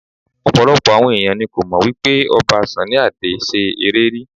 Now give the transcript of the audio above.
Ọ̀pọ̀lọpọ̀ àwọn ẹ̀yàn ni kò mọ̀ wípé Ọba Sunny Adé ṣe eré rí.